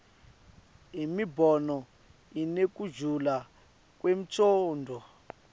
imibono inekujula kwemcondvo